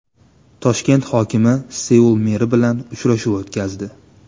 Toshkent hokimi Seul meri bilan uchrashuv o‘tkazdi.